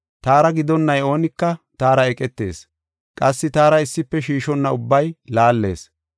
“Taara gidonnay oonika taara eqetees; qassi taara issife shiishonna ubbay laallees.